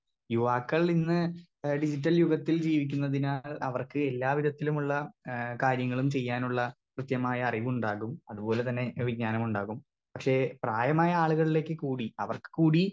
Speaker 2 യുവാക്കൾ ഇന്ന് ഏ ഡിജിറ്റൽ യുഗത്തിൽ ജീവിക്കുന്നതിനാൽ അവർക്ക് എല്ലാ വിധത്തിലുമുള്ള ഏ കാര്യങ്ങളും ചെയ്യാനുള്ള കൃത്യമായ അറിവുണ്ടാവും അത് പോലെ തന്നെ വിജ്ഞാനമുണ്ടാകും പക്ഷെ പ്രായമായ ആളുകള്ളേക്ക് കൂടി അവർക്ക് കൂടി.